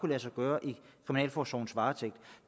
lade sig gøre i kriminalforsorgens varetægt